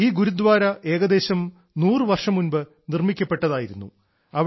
ഈ ഗുരുദ്വാര ഏകദേശം 100 വർഷം മുൻപ് നിർമ്മിക്കപ്പെട്ടതായിരുന്നു